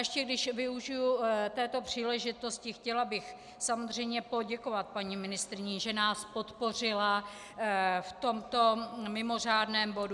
Ještě když využiji této příležitosti, chtěla bych samozřejmě poděkovat paní ministryni, že nás podpořila v tomto mimořádném bodu.